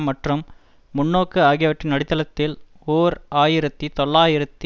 மற்றும் முன்னோக்கு ஆகியவற்றின் அடித்தளத்தில் ஓர் ஆயிரத்தி தொள்ளாயிரத்தி